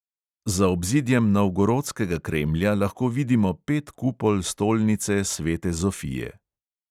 Za obzidjem novgorodskega kremlja lahko vidimo pet kupol stolnice svete zofije.